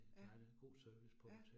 Ja, ja